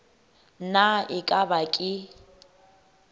na e ka ba ke